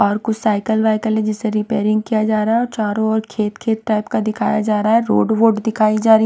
और कुछ साइकिल वाइकल है जिसे रिपेयरिंग किया जा रहा है और चारों ओर खेत खेत टाइप का दिखाया जा रहा है रोड वोड दिखाई जा रही है।